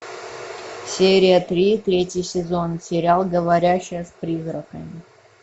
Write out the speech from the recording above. серия три третий сезон сериал говорящая с призраками